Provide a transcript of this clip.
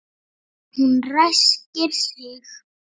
Hún ræskir sig.